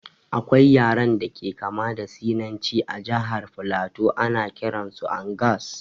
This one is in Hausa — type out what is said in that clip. Akwai yaren da ke kama da sinanci a jahar flato, ana kiran su angas